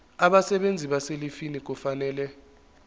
abasebenzi abaselivini kufanele